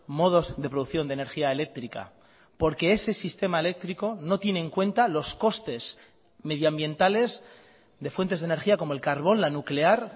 modos de producción de energía eléctrica porque ese sistema eléctrico no tiene en cuenta los costes medioambientales de fuentes de energía como el carbón la nuclear